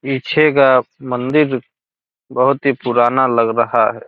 पीछे का मंदिर बोहत ही पुराना लग रहा है।